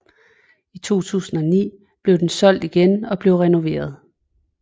I 2009 blev den solgt igen og blev renoveret